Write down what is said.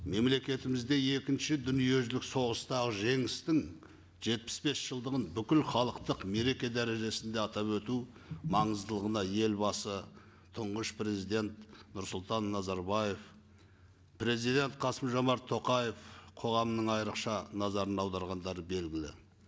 мемлекетімізде екінші дүниежүзілік соғыстағы жеңістің жетпіс бес жылдығын бүкіл халықтық мереке дәрежесінде атап өту маңыздылығына елбасы тұңғыш президент нұрсұлтан назарбаев президент қасым жомарт тоқаев қоғамның айрықша назарын аударғандары белгілі